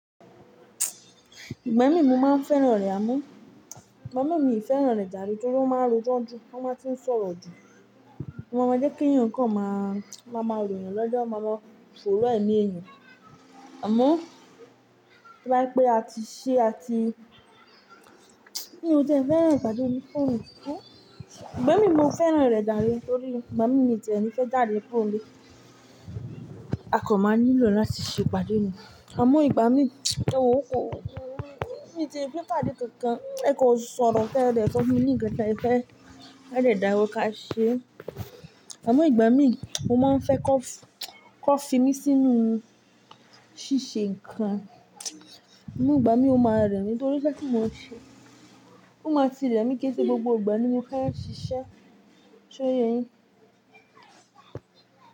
Ìgbà mí mo máa ń fẹ́ràn rẹ̀ amọ́, ìgbà mí mi fẹ́ràn rẹ̀ jàrebnítorí pé ó máa ń rojọ́ ju, ó máa ń tí ń sọ̀rọ̀ jù. Mo mọ̀ jé kí yan nǹkan máa, máa máa lu ènìyàn lọ́jọ́, máa mọ fòró ẹni ènìyàn. Àmọ́, bí o pé a ti ṣe a ti mi òti e fẹ́ràn ìpàdé mi pọ̀. Ìgbà mí mo fẹ́ràn rẹ̀ jàre torí ìgbà mí mi tẹ̀ mí fẹ́ jàde po le A kò mọ̀ nílò láti ṣe ìpàdé ni. Àmọ́ ìgbà mí, ewo kọ́, mi ti fẹ́ pàdé kankan, ẹ kò sọ̀rọ̀ pé ẹ dẹ̀ tọ́ mi ní ìkẹta ẹ fẹ́, ẹ dẹ̀ dára wo ká ṣe. Àmọ́ ìgbà mí, mo máa ń fẹ́ kọ́, kọ́ fi mí sínú ṣíṣe nǹkan. Ìgbà mí ó máa rẹ̀ mí nítorí iṣẹ́ tí mo ń ṣe. Ó máa ti rẹ̀ mí kí ẹ pé gbogbo ìgbà ni mo fẹ́ ṣiṣẹ́. Ṣé o ye yin?